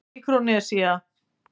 Míkrónesía